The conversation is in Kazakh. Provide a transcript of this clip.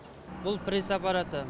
бұл пресс аппараты